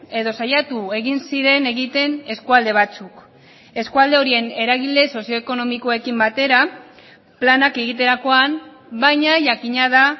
edo saiatu egin ziren egiten eskualde batzuk eskualde horien eragile sozioekonomikoekin batera planak egiterakoan baina jakina da